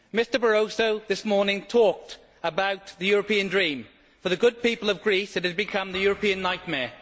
Mr Barroso this morning talked about the European dream for the good people of Greece, it has become the European nightmare.